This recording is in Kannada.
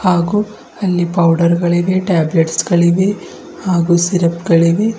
ಹಾಗೂ ಅಲ್ಲಿ ಪೌಡರ್ ಗಳಿವೆ ಟಾಬ್ಲಟ್ಸ್ ಗಳಿವೆ ಹಾಗೂ ಸಿರಪ್ ಗಳಿವೆ.